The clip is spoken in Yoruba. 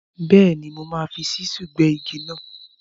Bẹ́ẹ̀ni, mo máa fi ṣísúù gbẹ́ igi náà.